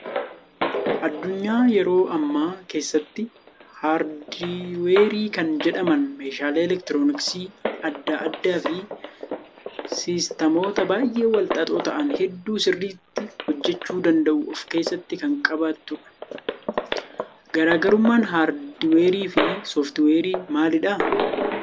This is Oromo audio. Addunyaa yeroo ammaa keessatti haardweerii kan jedhaman meeshaalee elektirooniksii adda addaa fi siistamoota baay'ee wal xaxoo ta'an hedduu sirriitti hojjachiisuu danda'uu of keessatti kan qabatudha. Garaagarummaan haardiweerii fi sooftiweerii maalidhaa?